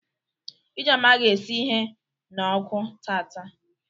Ijeoma ga esi ihe na ọkụ taata.